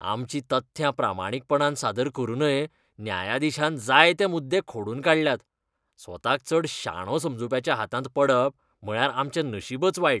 आमचीं तथ्यां प्रामाणीकपणान सादर करूनय न्यायाधीशान जायते मुद्दे खोडून काडल्यात. स्वताक चड शाणो समजूप्याच्या हातांत पडप म्हळ्यार आमचें नशीबच वायट.